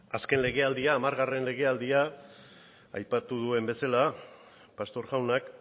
azken legealdia hamargarren legealdia aipatu duen bezala pastor jaunak